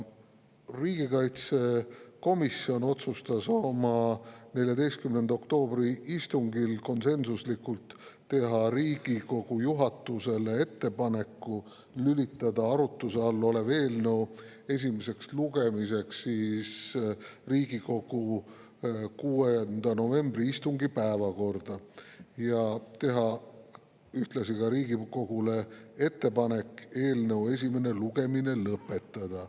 Riigikaitsekomisjon otsustas oma 14. oktoobri istungil konsensuslikult teha Riigikogu juhatusele ettepaneku lülitada arutuse all olev eelnõu esimeseks lugemiseks Riigikogu 6. novembri istungi päevakorda ja teha Riigikogule ettepaneku eelnõu esimene lugemine lõpetada.